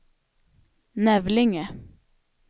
Nävlinge